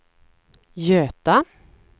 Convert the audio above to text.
Göta